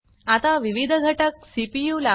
आता विविध घटक सीपीयू ला